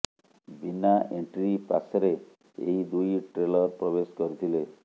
ବିନା ଏଣ୍ଟ୍ରି ପାସ୍ରେ ଏହି ଦୁଇ ଟ୍ରେଲର ପ୍ରବେଶ କରିଥିଲେ